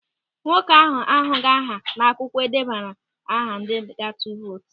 Nwoke ahụ ahụghị aha n'akwụkwọ edebara aha ndị ga-atụ vootu.